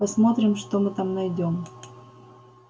посмотрим что мы там найдём